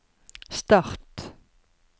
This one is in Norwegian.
start